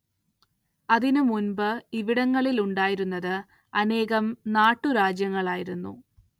അതിന്നുമുൻപ് ഇവിടങ്ങളിൽ ഉണ്ടായിരുന്നത് അനേകം നാട്ടുരാജ്യങ്ങളായിരുന്നു.